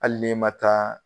Hali ni ma taa